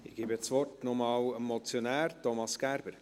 Ich gebe das Wort noch einmal dem Motionär, Thomas Gerber.